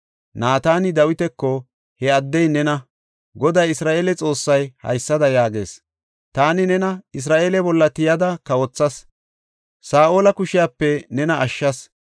Naatani Dawitako, “He addey nena! Goday Isra7eele Xoossay haysada yaagees; ‘Taani nena Isra7eele bolla tiyada kawothas; Saa7ola kushiyape nena ashshas.